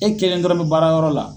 E kelen dɔrɔn bɛ baara yɔrɔ la.